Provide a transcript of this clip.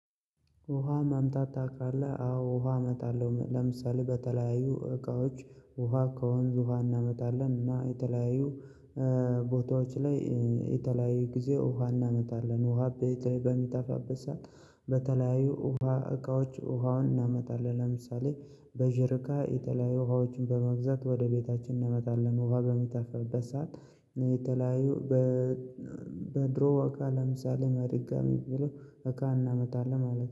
ውሃ ማምጣት ታውቃለህ አዎ ውሃ ኣመጣለሁ ለምሳሌ በተለያዩ እቃዎች ውሃ ከወንዝ ውሃ እናመጣለን እና የተለያዩ ቦታዎች ላይ የተለያዩ ጊዜ ውሃ እናመጣለን ውሃ ቤቴ በሚጠፋበት ሰዓት በተለያዩ ውሃ እቃዎች ውሃውን እናመጣለን ለምሳሌ በጀሪካ የተለያዩ ውሃዎችን በመግዛት ወደ ቤታችን እናመጣለን ውሃ በሚታፈበት ሰዓት የተለያዩ በድሮ እቃ ለምሳሌ መድጋሚ የሚለው እቃ እናመጣለን ማለት ነው